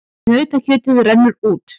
Nautakjötið rennur út